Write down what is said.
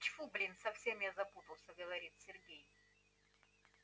тьфу блин совсем я запутался говорит сергей